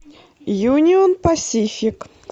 юнион пасифик